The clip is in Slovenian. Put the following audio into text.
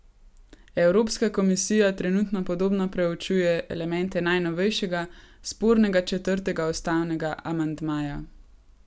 Evropska komisija trenutno podrobno preučuje elemente najnovejšega, spornega četrtega ustavnega amandmaja.